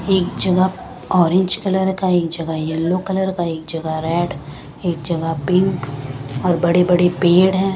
एक जगह orange colour का एक जगह येलो का एक जगह रेड एक जगह पिंक और बड़े बड़े पेड़ हैं ।